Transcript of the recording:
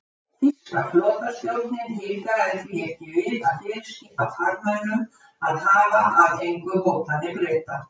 Þýska flotastjórnin hikaði því ekki við að fyrirskipa farmönnum að hafa að engu hótanir Breta.